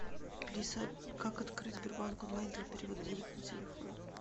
алиса как открыть сбербанк онлайн для перевода денег на телефон